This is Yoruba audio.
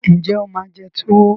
Ǹjẹ́ o máa jẹ túwo